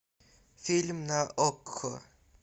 фильм на окко